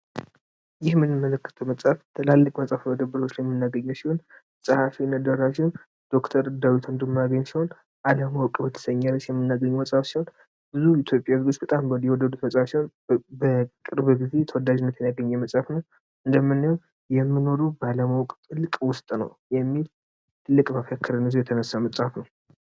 ይህ የምናየው መጽሐፍ በትላልቅ መደብሮች ላይ የምናገኘው መጽሐፍ ሲሆን ፀሐፊው ዶክተር ዳዊት ወንድማገኝ ሲሆን በሚል ርዕስ አለም አለማወቅ በሚል ርዕስ በቅርብ ጊዜ ተወዳጅነትን ያገኘ ትልቅ መጽሐፍ ነው የምንኖረው ባለማወቅ ውስጥ ነው የሚል ትልቅ መፈክርን ይዞ የተነሳ መጽሐፉ ነው።